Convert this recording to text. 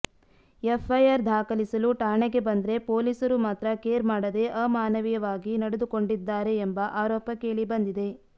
FIR ದಾಖಲಿಸಲು ಠಾಣೆಗೆ ಬಂದ್ರೆ ಪೊಲೀಸರು ಮಾತ್ರ ಕೇರ್ ಮಾಡದೆ ಅಮಾನವೀಯವಾಗಿ ನಡೆದು ಕೊಂಡಿದ್ದಾರೆ ಎಂಬ ಆರೋಪ ಕೇಳಿಬಂದಿದೆ